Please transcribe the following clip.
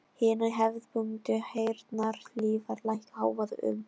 Hinar hefðbundnu heyrnarhlífar lækka hávaða um